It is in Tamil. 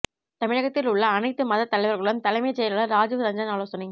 தமிழகத்தில் உள்ள அனைத்து மதத் தலைவர்களுடன் தலைமைச் செயலாளர் ராஜீவ் ரஞ்சன் ஆலோசனை